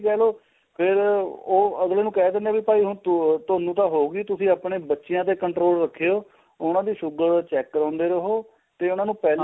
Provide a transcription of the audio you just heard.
ਕਹਿ ਲੋ ਫੇਰ ਉਹ ਅਗਲੇ ਨੂੰ ਕਹਿ ਦਿੰਦੇ ਏ ਵੀ ਭਾਈ ਹੁਣ ਤੂੰ ਤੁਹਾਨੂੰ ਤਾਂ ਹੋ ਗਈ ਤੁਸੀਂ ਆਪਣੇ ਬੱਚਿਆ ਤੇ control ਰੱਖਿਉ ਉਹਨਾ ਦੀ sugar check ਕਰਾਉਂਦੇ ਰਹੋ ਤੇ ਉਹਨਾ ਨੂੰ ਪਹਿਲਾਂ